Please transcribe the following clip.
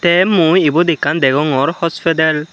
te mui ibot ekkan degongor hospidel.